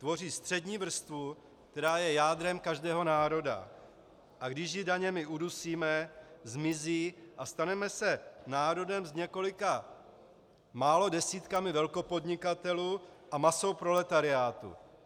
Tvoří střední vrstvu, která je jádrem každého národa, a když ji daněmi udusíme, zmizí a staneme se národem s několika málo desítkami velkopodnikatelů a masou proletariátu.